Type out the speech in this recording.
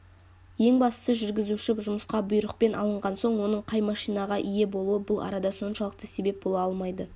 ең бастысы жүргізуші жұмысқа бұйрықпен алынған соң оның қай машинаға ие болуы бұл арада соншалықты себеп бола алмайды